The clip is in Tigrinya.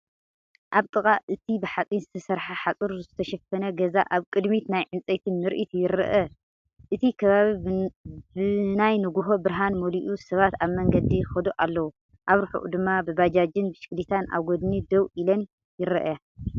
ኣብ ጥቓ እቲ ብሓፂን ዝተሰርሐ ሓፁር ዝተሸፈነ ገዛ ኣብ ቅድሚት ናይ ዕንፀይቲ ምርኢት ይርአ፤ እቲ ከባቢ ብናይ ንግሆ ብርሃን መሊኡ ሰባት ኣብ መንገዲ ይኸዱ ኣለዉ። ኣብ ርሑቕ ድማ ባጃጅን ብሽክለታን ኣብ ጎድኒ ደው ኢለን ይረኣያ።